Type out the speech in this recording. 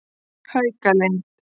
Haukalind